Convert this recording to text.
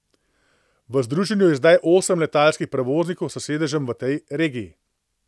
V združenju je zdaj osem letalskih prevoznikov s sedežem v tej regiji.